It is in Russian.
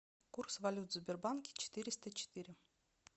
курс валют в сбербанке четыреста четыре